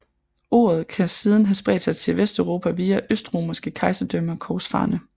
Ordet kan siden have spredt sig til Vesteuropa via Østromerske Kejserdømme og korsfarerne